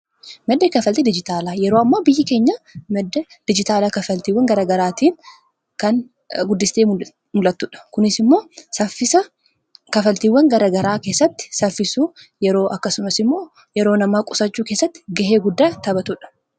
Madda kafalti dijitaalaa yeroo ammaa biyyi keenya madda dijitaalaa kafaltiiwan garagaraatiin kan guddistee mul'attuudha. Kunis immoo saffisa kafaltiiwwan garagaraa keessatti saffisuu yeroo akkasumas immoo yeroo namaa qusachuu keessatti gahee guddaa taphatuudha.